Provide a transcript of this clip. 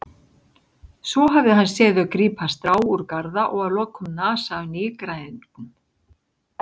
Svo hafði hann séð þau grípa strá úr garða og að lokum nasa af nýgræðingnum.